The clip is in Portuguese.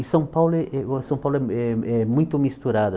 E São Paulo é é São Paulo é é muito misturado.